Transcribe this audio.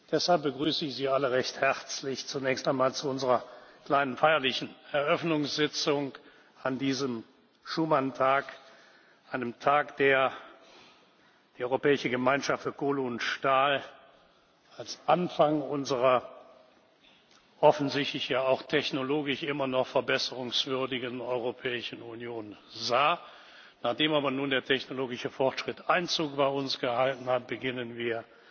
Deshalb begrüße ich Sie alle recht herzlich zunächst einmal zu unserer kleinen feierlichen Eröffnungssitzung an diesem Schuman Tag einem Tag, der die Europäische Gemeinschaft für Kohle und Stahl als Anfang unserer offensichtlich ja auch technologisch immer noch verbesserungswürdigen Europäischen Union sah. Nachdem aber nun der technologische Fortschritt Einzug bei uns gehalten hat, beginnen wir